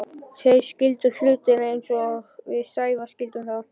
Þeir skildu hlutina ekki eins og við Sævar skildum þá.